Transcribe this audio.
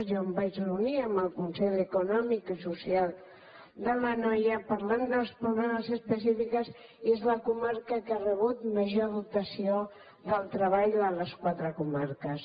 jo em vaig reunir amb el consell econòmic i social de l’anoia parlant dels problemes específics i és la comarca que ha rebut major dotació del treball de les quatre comarques